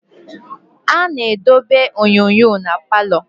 A na-edobe onyonyo na palọ.